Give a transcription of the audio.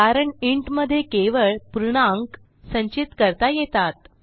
कारण इंट मध्ये केवळ पूर्णाक संचित करता येतात